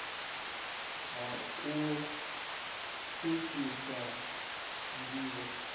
ha u pfukhisa nd ivho